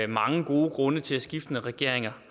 mange gode grunde til skiftende regeringer